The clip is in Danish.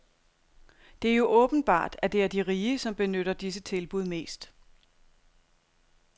Det er jo åbenbart, at det er de rige, som benytter disse tilbud mest.